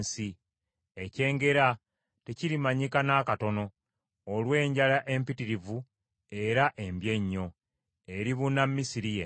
Ekyengera tekirimanyika n’akatono olw’enjala empitirivu era embi ennyo, eribuna Misiri yenna.